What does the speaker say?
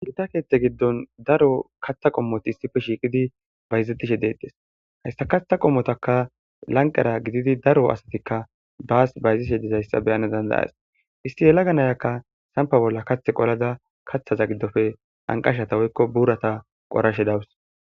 Gitta keeththe giddon daro kaththa qommoti issipe shiiqidi bayzetishshe deettees hayssa kaththa qommotakka lanqera gididi daro asatikka baas bayzishshe dizayssa beyana dandayas isti yelaga nayakka sankko bolla kathe qolada kaththaza giidofe anqashshatta woykko burata qorashe dawus